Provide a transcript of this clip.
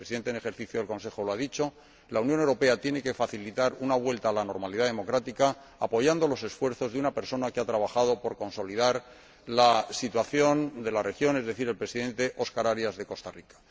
El Presidente en ejercicio del Consejo lo ha dicho la Unión Europea tiene que facilitar una vuelta a la normalidad democrática, apoyando los esfuerzos de una persona que ha trabajado por consolidar la situación de la región, el Presidente Óscar Arias, de Costa Rica.